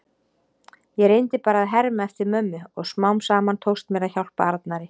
Ég reyndi bara að herma eftir mömmu og smám saman tókst mér að hjálpa Arnari.